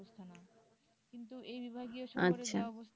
কিন্তু এই বিভাগীয় শহরের যা অবস্থা